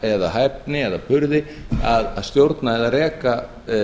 eða hæfni eða burði að stjórna eða reka